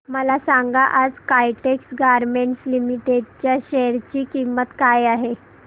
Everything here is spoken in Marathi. मला सांगा आज काइटेक्स गारमेंट्स लिमिटेड च्या शेअर ची किंमत काय आहे